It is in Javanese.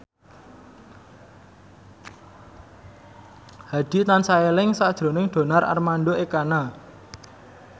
Hadi tansah eling sakjroning Donar Armando Ekana